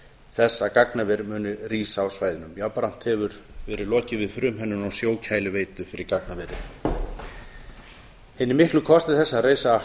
þess að gagnaver muni rísa á svæðinu jafnframt hefur verið lokið við frumhönnun á sjókæliveitu fyrir gagnaverið hinir miklu kostir þess að reisa